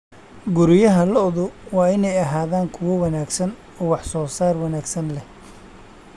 Guryaha lo'du waa inay ahaadaan kuwo wanaagsan oo wax soo saar wanaagsan leh.